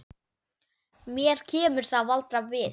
Mér kemur það varla við.